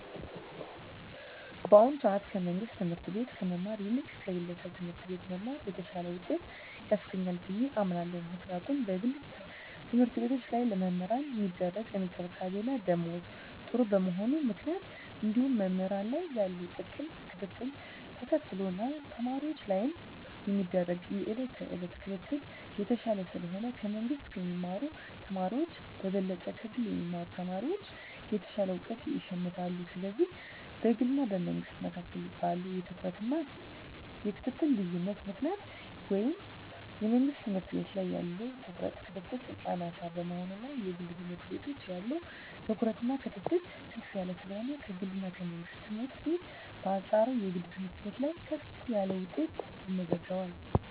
በአሁኑ ሰአት ከመንግስት ትምህርት ቤት ከመማር ይልቅ ከግለሰብ ትምህርት ቤት መማር የተሻለ ውጤት ያስገኛል ብየ አምናለው ምክንያቱም በግል ተምህርትቤቶች ላይ ለመምህራን ሚደረግ እንክብካቤና ደሞዝ ጥሩ በመሆኑ ምክንያት እንዲሁም መምህራን ላይ ያለው ጥብቅ ክትትልን ተከትሎ እና ተማሪወች ላይም የሚደረግ የየእለት ክትትል የተሻለ ስለሆነ ከመንግስ ከሚማሩ ተማሪወች በበለጠ ከግል የሚማሩ ተማሪወች የተሻለ እውቀት ይሸምታሉ ስለዚህ በግልና በመንግስ መካከል ባለው የትኩረትና የክትትል ልዮነት ምክንያት ወይም የመንግስት ትምህርት ቤት ላይ ያለው ትኩረትና ክትትል አናሳ በመሆኑና የግል ትምህርት ቤት ያለው ትኩረትና ክትትል ከፍ ያለ ስለሆነ ከግልና ከመንግስት ትምህርት ቤት በአንጻሩ የግል ትምህርት ቤት ላይ ከፍ ያለ ውጤት ይመዘገባል።